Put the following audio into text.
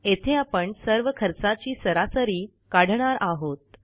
येथे आपण सर्व खर्चाची सरासरी काढणार आहोत